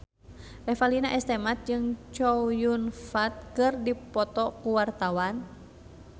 Revalina S. Temat jeung Chow Yun Fat keur dipoto ku wartawan